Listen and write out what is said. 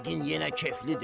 Yəqin yenə keflidir.